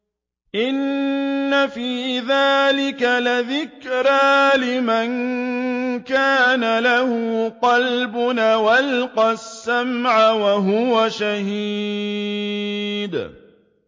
إِنَّ فِي ذَٰلِكَ لَذِكْرَىٰ لِمَن كَانَ لَهُ قَلْبٌ أَوْ أَلْقَى السَّمْعَ وَهُوَ شَهِيدٌ